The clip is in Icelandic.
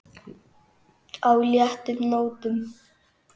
á léttum nótum.